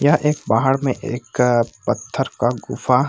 यहाँ एक पहाड़ में एक पत्थर का गुफा --